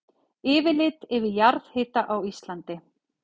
Yfirlit yfir jarðhita á Íslandi.